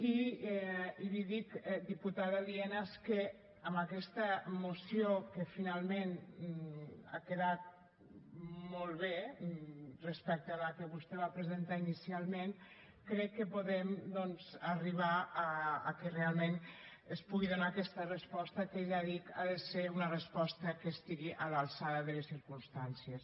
i li dic diputada lienas que amb aquesta moció que finalment ha quedat molt bé respecte a la que vostè va presentar inicialment crec que podem arribar a que realment es pugui donar aquesta resposta que ja ho dic ha de ser una resposta que estigui a l’alçada de les circumstàncies